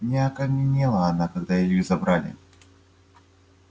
не окаменела она когда илью забрали